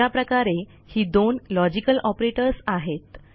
अशा प्रकारे ही दोन लॉजिकल ऑपरेटर्स आहेत